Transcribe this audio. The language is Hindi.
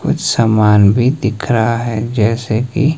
कुछ सामान भी दिख रहा है जैसे कि--